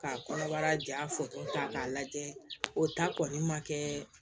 Ka kɔnɔbara ja ta k'a lajɛ o ta kɔni ma kɛ